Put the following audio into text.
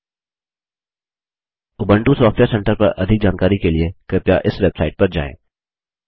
Ubuntu software centre पर अधिक जानकारी के लिए कृपया इस वेबसाइट पर जाएँ